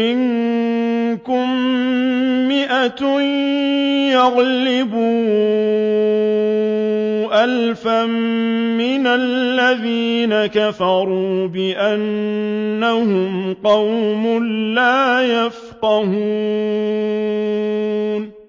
مِّنكُم مِّائَةٌ يَغْلِبُوا أَلْفًا مِّنَ الَّذِينَ كَفَرُوا بِأَنَّهُمْ قَوْمٌ لَّا يَفْقَهُونَ